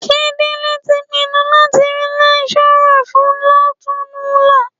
Ṣé Délé tí pinnu láti rí lẹ́kíṣọ́rà fín lọ́tùnúnlá?